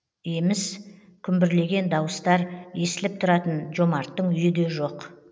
еміс күмбірлеген дауыстар естіліп тұратын жомарттың үйі де жоқ